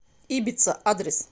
ибица адрес